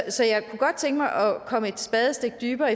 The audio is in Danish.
så jeg kunne godt tænke mig at komme et spadestik dybere